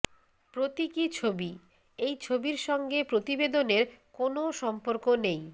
প্রতীকী ছবি এই ছবির সঙ্গে প্রতিবেদনের কোনও সম্পর্ক নেই